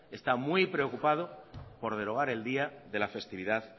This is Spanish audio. está muy preocupado por derogar el día de la festividad